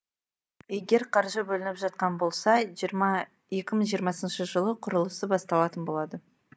егер қаржы бөлініп жатқан болса екі мың жиырмасыншы жылы құрылысы басталатын болады